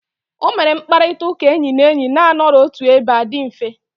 O mere mkpakọrịta enyi na enyi na-anọrọ otu ebe a di mfe.